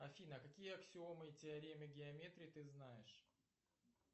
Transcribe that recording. афина какие аксиомы и теоремы геометрии ты знаешь